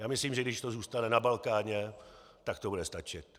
Já myslím, že když to zůstane na Balkáně, tak to bude stačit.